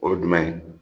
O ye jumɛn ye